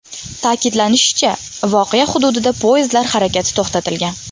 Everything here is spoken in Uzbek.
Ta’kidlanishicha, voqea hududida poyezdlar harakati to‘xtatilgan.